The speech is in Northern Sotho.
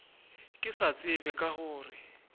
ke sa tsebe ka gore